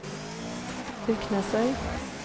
Byrknesøy